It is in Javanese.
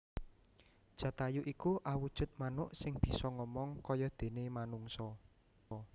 Jatayu iku awujud manuk sing bisa ngomong kayadene manungsa